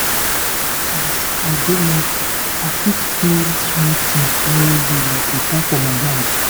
as as i dey mindful i fit feel small things well well like water for my hand.